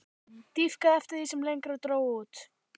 Dýpkaði eftir því sem lengra dró út.